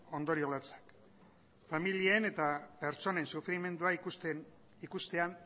ondorio latzak familien eta pertsonen sufrimendua ikustean